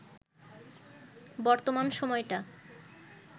বর্তমান সময়টা